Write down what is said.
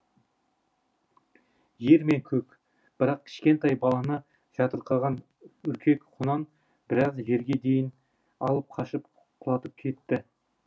жер мен көк бірақ кішкентай баланы жатырқаған үркек құнан біраз жерге дейін алып қашып құлатып кетті